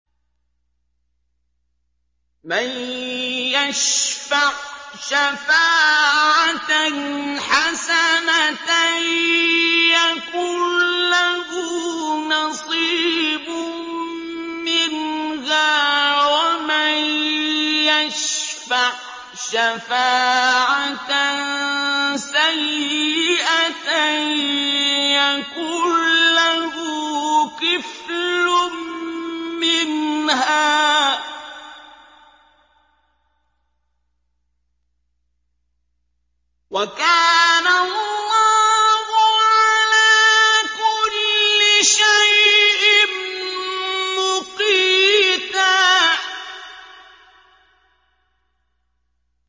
مَّن يَشْفَعْ شَفَاعَةً حَسَنَةً يَكُن لَّهُ نَصِيبٌ مِّنْهَا ۖ وَمَن يَشْفَعْ شَفَاعَةً سَيِّئَةً يَكُن لَّهُ كِفْلٌ مِّنْهَا ۗ وَكَانَ اللَّهُ عَلَىٰ كُلِّ شَيْءٍ مُّقِيتًا